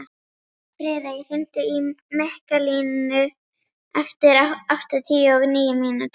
Friðey, hringdu í Mikkalínu eftir áttatíu og níu mínútur.